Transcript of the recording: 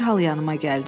Dərhal yanıma gəldi.